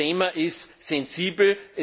Ich glaube, das Thema ist sensibel.